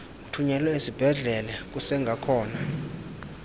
uthunyelwe esibhedlele kusengakhona